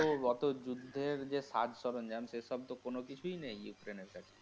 তো অত যুদ্ধের যে সাজসরঞ্জাম সে সব তো কোনো কিছুই নেই ইউক্রেইন্ এর কাছে।